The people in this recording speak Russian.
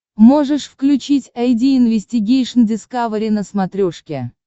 можешь включить айди инвестигейшн дискавери на смотрешке